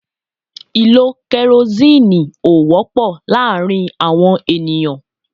Ìlò kerosinni ó wọ́pọ̀ láàárín àwọn ènìyàn.